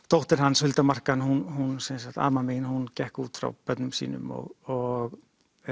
dóttir hans Hulda Markan amma mín hún gekk út frá börnum sínum og